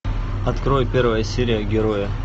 открой первая серия герои